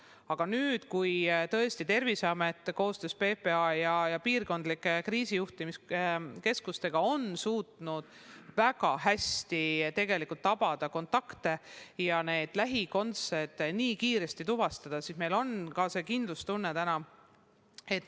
Aga nüüd, kui tõesti Terviseamet koostöös PPA ja piirkondlike kriisijuhtimiskeskustega on suutnud väga hästi kontakte jälgida ja lähikontaktid kiiresti tuvastada, on meil suurem kindlustunne.